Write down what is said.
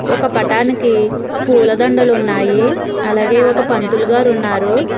ఒక పటానికి పూవుల దండాలు ఉన్నాయి అలాగే ఒక పంతులు గారు ఉన్నారు.